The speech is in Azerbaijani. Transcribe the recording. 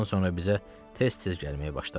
Bundan sonra bizə tez-tez gəlməyə başladı.